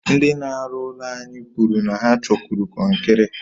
Ndị n'aru ụlọ anyi kwuru na ha chọkwuru konkiri